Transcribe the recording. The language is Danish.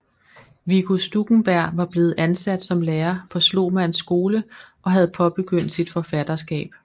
Viggo Stuckenberg var blevet ansat som lærer på Slomanns Skole og havde påbegyndt sit forfatterskab